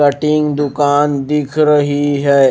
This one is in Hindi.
कटिंग दुकान दिख रही है।